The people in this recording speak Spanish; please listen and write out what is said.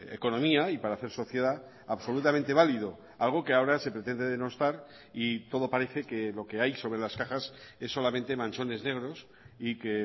economía y para hacer sociedad absolutamente válido algo que ahora se pretende denostar y todo parece que lo que hay sobre las cajas es solamente manchones negros y que